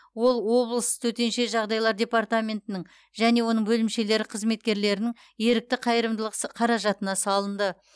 ол облыс төтенше жағдайлар департаментінің және оның бөлімшелері қызметкерлерінің ерікті қайырымдылық сы қаражатына салынды